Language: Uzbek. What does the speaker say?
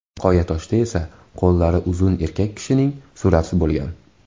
Qoyatoshda esa qo‘llari uzun erkak kishining surati bo‘lgan.